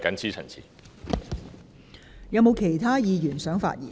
是否有其他議員想發言？